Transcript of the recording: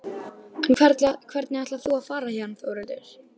En hvernig ætlar þú að fara héðan Þórhildur?